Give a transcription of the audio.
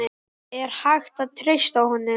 Er hægt að treysta honum?